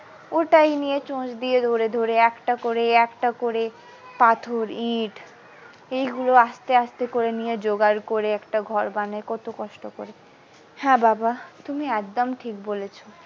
ওটাই নিয়ে চুছ দিয়ে ধরে ধরে একটা করে একটা করে পাথর ইট এই গুলো আস্তে আস্তে করে নিয়ে জোগাড় করে একটা ঘর বানায় কত কষ্ট করে হ্যাঁ বাবা তুমি একদম ঠিক বলেছো।